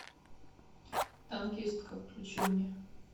танкистка включи мне